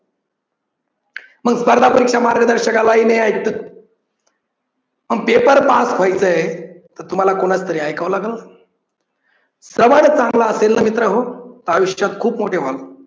मग स्पर्धा परीक्षा मार्गदर्शनाला येण्या इतक जर paper पास व्हायचय तर तुम्हाला कोणाच तरी ऐकाव लागलं, श्रवण चांगल असेल न मित्र हो तर आयुष्यात खूप मोठे व्हाल.